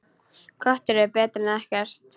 Köttur er betri en ekkert.